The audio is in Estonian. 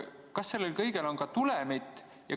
Kas sellel kõigel on ka tulemit?